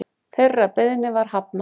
Þeirri beiðni var hafnað